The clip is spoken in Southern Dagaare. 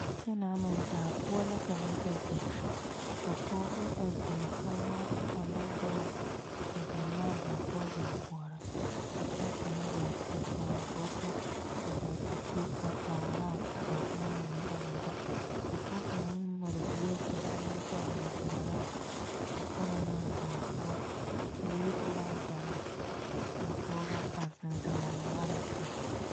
A kyɛne meŋ daa poɔ la ka noba be ka pɔgeba a biŋ kyuuma ane boma a zeŋ ne a daa poɔ a koɔrɔ ka pɔge kaŋa ga pegle botɔ a gaa te gɔ kara boma mine a na da ka pɔge kaŋa meŋ mare bie meŋ pegle o boɔra a kyɛne naa daa poɔ teere be la a daae kaa Pɔgeba a zeŋ zeŋ a marroŋ poɔ